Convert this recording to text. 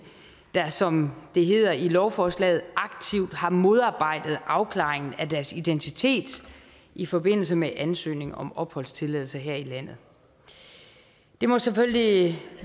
der som der hedder i lovforslaget aktivt har modarbejdet afklaringen af deres identitet i forbindelse med ansøgning om opholdstilladelse her i landet det må selvfølgelig